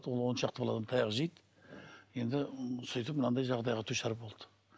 ол он шақты баладан таяқ жейді енді сөйтіп мынандай жағдайға душар болды